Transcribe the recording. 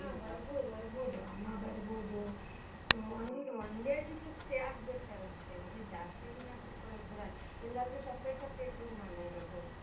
ಹ ಹಾ ಬರ್ಬೋದು ಬರ್ಬೋದು ಅಮ್ಮಾ ಬರ್ಬೋದು, ಆ ಒಂದ್ ಒಂದೆರಡ್ ದಿವ್ಸಕ್ಕೆ stay ಆಗ್ಬೀಡ್ತಾರಷ್ಟೇ, ಮತ್ತೆ ಜಾಸ್ತಿ ದಿನ ಕೂತ್ಕೋಳಕ್ಕ್ ಬಿಡಲ್ಲ, ಎಲ್ಲಾರ್ಗು separate separate room ಅಲ್ಲ ಇರೋದು.